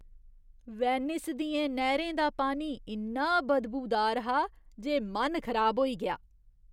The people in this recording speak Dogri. वेनिस दियें नैह्रें दा पानी इन्ना बदबूदार हा जे मन खराब होई गेआ।